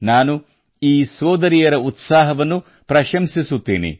ನಾನು ಈ ಸೋದರಿಯರ ಉತ್ಸಾಹವನ್ನು ಪ್ರಶಂಸಿಸುತ್ತೇನೆ